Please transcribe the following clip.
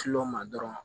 ma dɔrɔn